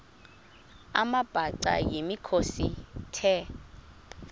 amabhaca yimikhosi the